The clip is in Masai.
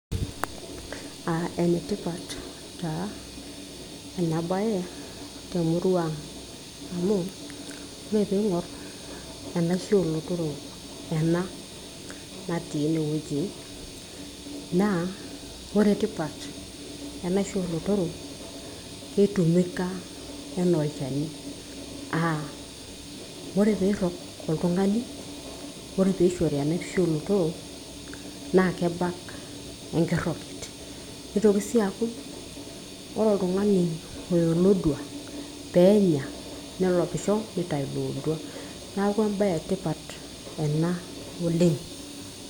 Enetipat taa ena bae temurua aang' amu ore piing'or enaisho oo lotorok ena natii ene wueji naa kore tipitat, enisho o lotorok, kitumika enaa olchani a kore piirog oltung'ani naa kishori enaisho o lotorok naa kebak enkiroget. Nitoki siii aaku ore oltung'ani oya olodua peenya nelopisho nitayu ilo odua. Neeku embae e tipat ena oleng'.